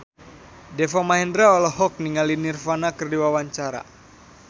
Deva Mahendra olohok ningali Nirvana keur diwawancara